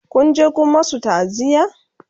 Kun je Kun masu ta'aziya?